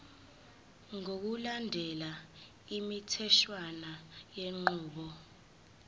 ngokulandela imitheshwana yenqubo